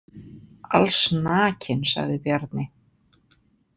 Allsnakinn, sagði Bjarni.